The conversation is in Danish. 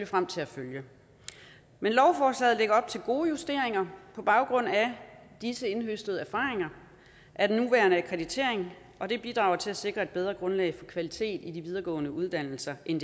frem til at følge lovforslaget lægger op til gode justeringer på baggrund af disse indhøstede erfaringer af den nuværende akkreditering og det bidrager til at sikre et bedre grundlag for kvalitet i de videregående uddannelser end